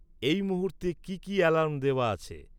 এই মুহূর্তে কী কী অ্যালার্ম দেওয়া আছে?